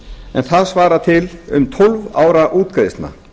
en það svarar til um tólf ára útgreiðslna